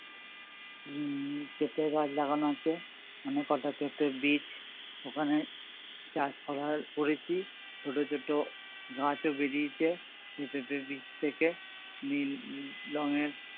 উম পেঁপে গাছ লাগানো আছে অনেক কটা পেঁপে বীচ ওখানে চাষ করার করেছি ছোটো ছোটো গাছও বেরিয়েছে পেঁপে বীচ থেকে নীল রঙের